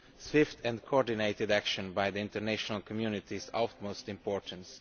Swift and coordinated action by the international community is of the utmost importance.